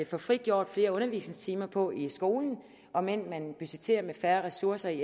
få frigjort flere undervisningstimer på i skolen om end man budgetterer med færre ressourcer i